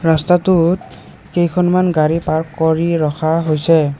ৰস্তাটোত কেইখনমান গাড়ী পাৰ্ক কৰি ৰখা হৈছে।